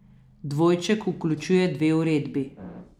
Dvojček vključuje dve uredbi.